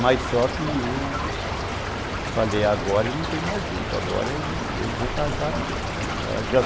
Mas só que eu falei, agora não tem mais jeito, agora eu vou casar mesmo.